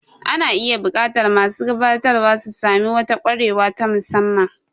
Ana iya buƙatar masu gabatarwa su sami wata kwarewa ta musamman.